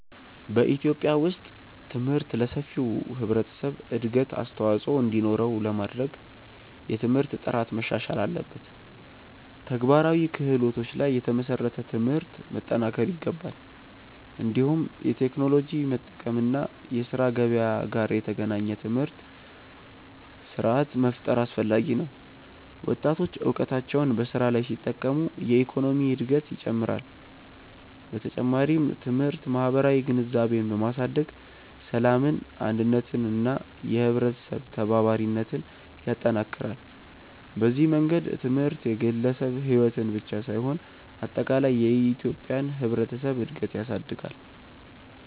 በኢትዮጵያ ውስጥ ትምህርት ለሰፊው ህብረተሰብ እድገት አስተዋፅኦ እንዲኖረው ለማድረግ የትምህርት ጥራት መሻሻል አለበት፣ ተግባራዊ ክህሎቶች ላይ የተመሰረተ ትምህርት መጠናከር ይገባል። እንዲሁም የቴክኖሎጂ መጠቀም እና የስራ ገበያ ጋር የተገናኘ ትምህርት ስርዓት መፍጠር አስፈላጊ ነው። ወጣቶች እውቀታቸውን በስራ ላይ ሲጠቀሙ የኢኮኖሚ እድገት ይጨምራል። በተጨማሪም ትምህርት ማህበራዊ ግንዛቤን በማሳደግ ሰላምን፣ አንድነትን እና የህብረተሰብ ተባባሪነትን ይጠናክራል። በዚህ መንገድ ትምህርት የግለሰብን ሕይወት ብቻ ሳይሆን አጠቃላይ የኢትዮጵያን ህብረተሰብ እድገት ያሳድጋል።